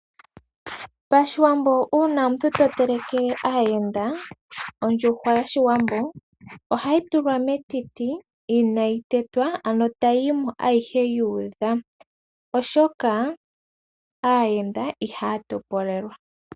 Pashiwambo uuna omuntu to telekele aayenda, odjuhwa yoshiwambo oha yi tulwa metiti ina yi tetwa ano tayi yimo ayihe yuudha, oshoka aayenda ihaya topolelwa.